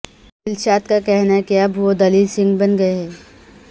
دلشاد کا کہنا ہے کہ اب وہ دلیر سنگھ بن گئے ہیں